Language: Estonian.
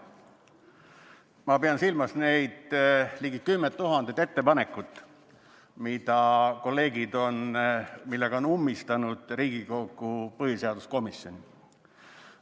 Ma pean silmas neid ligi kümmet tuhandet ettepanekut, millega kolleegid on ummistanud Riigikogu põhiseaduskomisjoni.